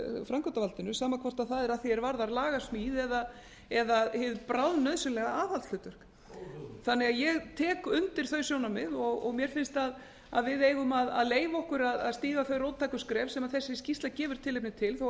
framkvæmdarvaldinu sama hvort það er að því er varðar lagasmíð eða hið bráðnauðsynlega aðhaldshlutverk ég tek því undir þau sjónarmið og mér finnst að við eigum að leyfa okkur að stíga þau róttæku skref sem þessi skýrsla gefur tilefni til þó að